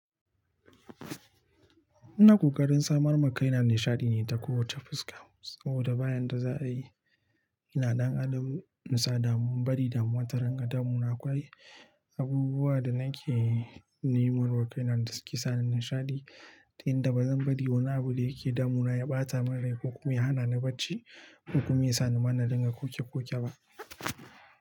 Ina kokarin samar ma kaina nishaɗi ne ta kowace fuska, saboda ba yanda za a yi. Ina dan adam insa damu, in bari damuwa ta ringa damuna. Akwai abubuwa da nake nemar wa kaina da suke sani nishaɗi, ta yanda ba zan bari wani abu da yake damuna ya ɓata min rai ko kuma ya hana ni barci ko kuma ya sani mana dinga koke-koke ba.